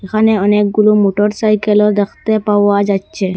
এখানে অনেকগুলো মোটরসাইকেলও দেখতে পাওয়া যাচ্ছে।